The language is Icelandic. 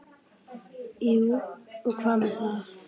Jú, og hvað með það?